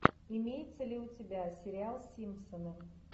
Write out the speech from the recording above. имеется ли у тебя сериал симпсоны